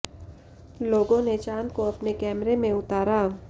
लोगों ने चांद को अपने कैमरे में उतारा